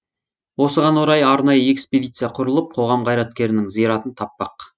осыған орай арнайы экспедиция құрылып қоғам қайраткерінің зиратын таппақ